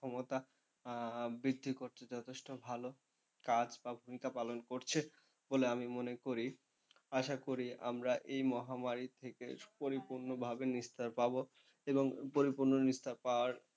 ক্ষমতা বৃদ্ধি করছে, যথেষ্ট ভালো কাজ বা ভূমিকা পালন করছে বলে আমি মনে করি। আশা করি আমরা এই মহামারী থেকে পরিপূর্ণভাবে নিস্তার পাবো এবং পরিপূর্ণ নিস্তার পাওয়ার,